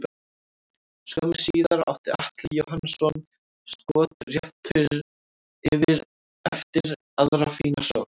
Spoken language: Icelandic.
Skömmu síðar átti Atli Jóhannsson skot rétt yfir eftir aðra fína sókn.